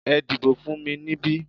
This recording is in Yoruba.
Ẹ dìbò fún mi níbí!